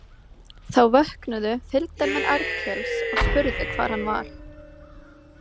Þá vöknuðu fylgdarmenn Arnkels og spurðu hvar hann var.